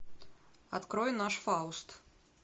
открой наш фауст